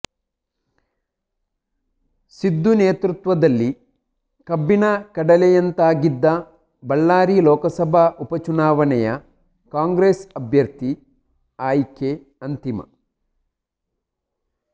ಸಿದ್ದು ನೇತೃತ್ವದಲ್ಲಿ ಕಬ್ಬಿಣ ಕಡಲೆಯಂತಾಗಿದ್ದ ಬಳ್ಳಾರಿ ಲೋಕಸಭಾ ಉಪಚುನಾವಣೆಯ ಕಾಂಗ್ರೆಸ್ ಅಭ್ಯರ್ಥಿ ಆಯ್ಕೆ ಅಂತಿಮ